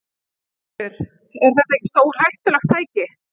Ingveldur: Er þetta ekki stórhættulegt tæki?